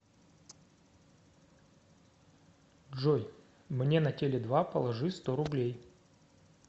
джой мне на теле два положи сто рублей